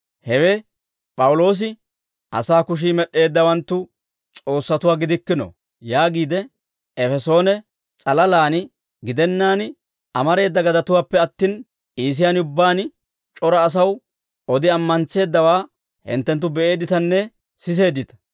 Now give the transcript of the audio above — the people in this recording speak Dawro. Hewe P'awuloosi, ‹Asaa kushii med'd'eeddawanttu s'oossatuwaa gidikkino› yaagiide, Efesoone s'alalaan gidennaan amareeda gadatuwaappe attin, Iisiyaan ubbaan c'ora asaw odi ammantseeddawaa hinttenttu be'eedditanne siseeddita.